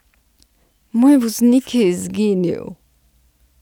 Moj voznik je izginil.